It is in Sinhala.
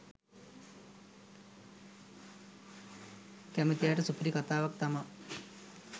කැමති අයට සුපිරි කතාවක් තමා